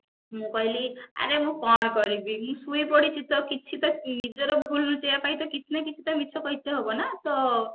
ମୁ କହିଲି ଆରେ ମୁଁ କଣ କରିବି ମୁଁ ଶୋଇପଡିଛି ତ ନିଜର ଭୁଲ ଲୁଚେଇବା ପାଇଁ ତ କିଛି ନା କିଛି କହିଥିଲେ ହବ ନା ତ